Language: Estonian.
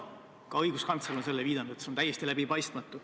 Ka õiguskantsler on viidanud sellele, et see on täiesti läbipaistmatu.